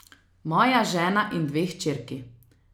Moja žena in dve hčerki.